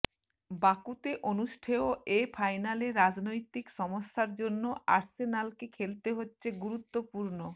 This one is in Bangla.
বাকুতে অনুষ্ঠেয় এ ফাইনালে রাজনৈতিক সমস্যার জন্য আর্সেনালকে খেলতে হচ্ছে গুরুত্বপূর্ণ